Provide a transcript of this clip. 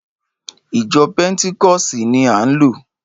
Ìjọ pẹ́ntíkọ̀sì ni án lọ